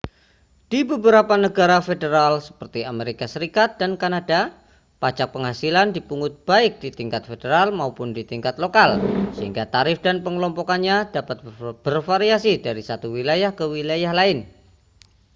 di beberapa negara federal seperti amerika serikat dan kanada pajak penghasilan dipungut baik di tingkat federal maupun di tingkat lokal sehingga tarif dan pengelompokannya dapat bervariasi dari satu wilayah ke wilayah lain